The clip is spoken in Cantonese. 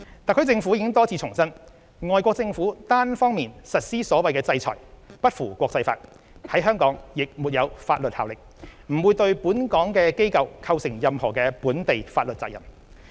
特區政府已多次重申，外國政府單方面實施所謂"制裁"不符國際法，在香港亦沒有法律效力，不會對本港機構構成任何本地法律責任。